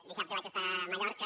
dissabte vaig estar a mallorca